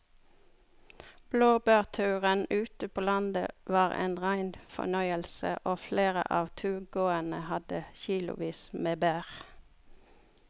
Blåbærturen ute på landet var en rein fornøyelse og flere av turgåerene hadde kilosvis med bær.